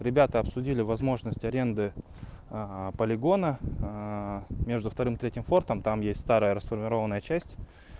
ребята обсудили возможность аренды полигона между вторым и третьим спортом там есть старая расформированная часть